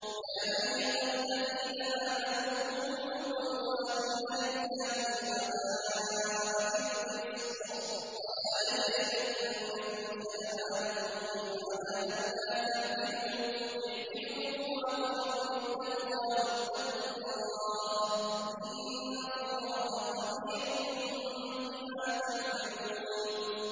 يَا أَيُّهَا الَّذِينَ آمَنُوا كُونُوا قَوَّامِينَ لِلَّهِ شُهَدَاءَ بِالْقِسْطِ ۖ وَلَا يَجْرِمَنَّكُمْ شَنَآنُ قَوْمٍ عَلَىٰ أَلَّا تَعْدِلُوا ۚ اعْدِلُوا هُوَ أَقْرَبُ لِلتَّقْوَىٰ ۖ وَاتَّقُوا اللَّهَ ۚ إِنَّ اللَّهَ خَبِيرٌ بِمَا تَعْمَلُونَ